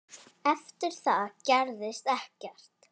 Eftir það gerðist ekkert.